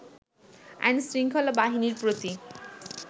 আইন-শৃঙ্খলা বাহিনীর প্রতি